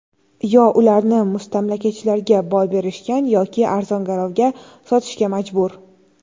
Yo ularni mustamlakachilarga boy berishgan yoki arzon-garovga sotishga majbur.